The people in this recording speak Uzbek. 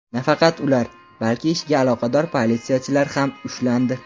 Nafaqat ular, balki ishga aloqador politsiyachilar ham ushlandi.